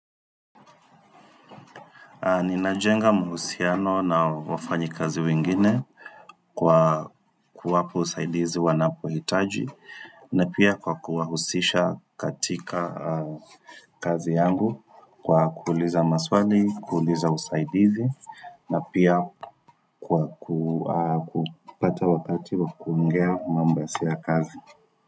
Ninajenga mahusiano na wafanyi kazi wengine kwa kuwapa usaidizi wanapohitaji na pia kwa kuwahusisha katika kazi yangu kwa kuuliza maswali, kuuliza usaidizi na pia kwa ku kupata wakati wa kuongea mambo si ya kazi.